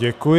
Děkuji.